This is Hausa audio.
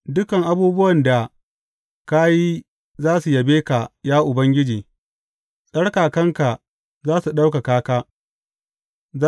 Dukan abubuwan da ka yi za su yabe ka, ya Ubangiji; tsarkakanka za su ɗaukaka ka.